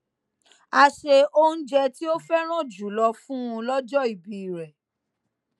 a se oúnjẹ tí ó féràn jù lọ fún un lójó ìbí rè